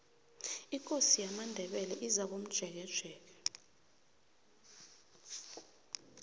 ikosi yamandebele izakomjekejeke